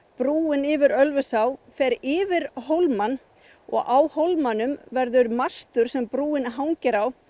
brúin yfir Ölfusá fer yfir hólmann og á hólmanum verður mastur sem brúin hangir á